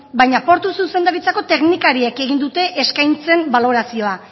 baina portu zuzendaritzako teknikariek egin dute eskaintzen balorazioa